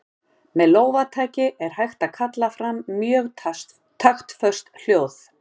Með lófataki er hægt að kalla fram mjög taktföst hljóð.